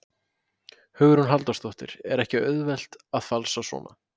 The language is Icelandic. Hugrún Halldórsdóttir: Er ekki auðvelt að falsa svona?